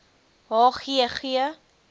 h g g